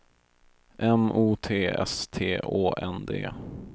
M O T S T Å N D